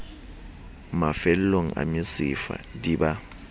mafellong a mesifa di ba